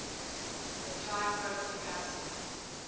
a triprotic acid